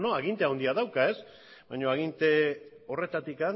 aginte handia dauka baina aginte horretatik